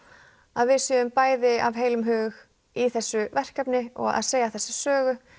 að við séum bæði af heilum hug í þessu verkefni og að segja þessa sögu